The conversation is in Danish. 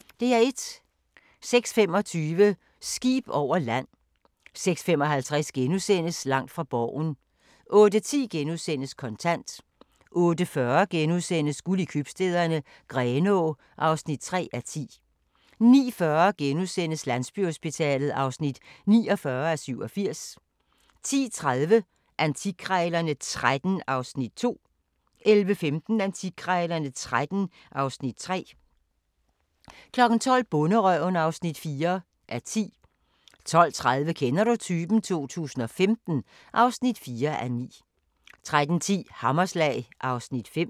06:25: Skib over land 06:55: Langt fra Borgen * 08:10: Kontant * 08:40: Guld i Købstæderne - Grenaa (3:10)* 09:40: Landsbyhospitalet (49:87)* 10:30: Antikkrejlerne XIII (Afs. 2) 11:15: Antikkrejlerne XIII (Afs. 3) 12:00: Bonderøven (4:10) 12:30: Kender du typen? 2015 (4:9) 13:10: Hammerslag (Afs. 5)